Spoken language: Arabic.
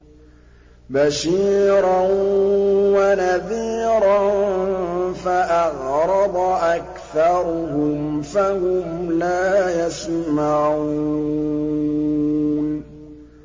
بَشِيرًا وَنَذِيرًا فَأَعْرَضَ أَكْثَرُهُمْ فَهُمْ لَا يَسْمَعُونَ